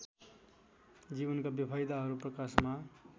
जीवनका बेफाइदाहरू प्रकाशमा